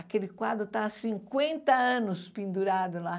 Aquele quadro está há cinquenta anos pendurado lá.